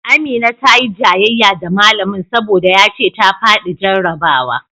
Amina ta yi jayayya da malamin saboda ya ce ta faɗi jarrabawa